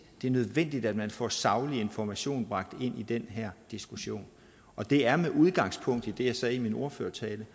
det er nødvendigt at man får saglig information bragt ind i den her diskussion og det er med udgangspunkt i det jeg sagde i min ordførertale